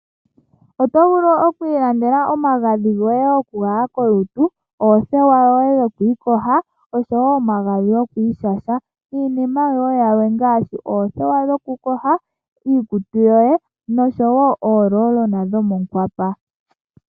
Oto vulu oku ilandela omagadhi goye gokugwaya kolutu, oothewa dhokwiiyoga, osho wo omagadhi goku ishasha niinima wo yilwe ngaashi oothewa dhokuyoga iikutu osho wo omagadhi gokwiigoga moohwapwa.